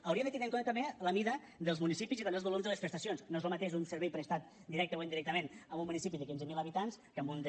hauríem de tenir en compte també la mida dels municipis i també els volums de les prestacions no és lo mateix un servei prestat directament o indirectament en un municipi de quinze mil habitants que en un de